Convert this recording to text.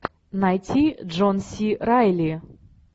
найти джон си райли